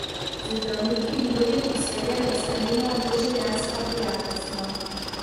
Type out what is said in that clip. Z zdravniki in drugim osebjem je sklenila doživljenjska prijateljstva.